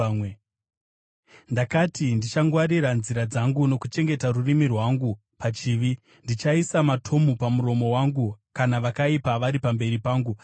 Ndakati, “Ndichangwarira nzira dzangu nokuchengeta rurimi rwangu pachivi; ndichaisa matomu pamuromo wangu kana vakaipa vari pamberi pangu.”